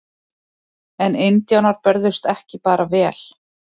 En indjánar börðust ekki bara vel.